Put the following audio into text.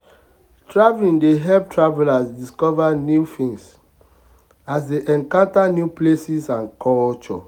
traveling dey help travelers discover new things as they encounter new places and cultures.